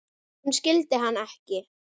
Hún skildi hann ekki.